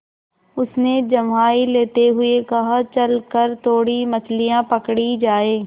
उसने जम्हाई लेते हुए कहा चल कर थोड़ी मछलियाँ पकड़ी जाएँ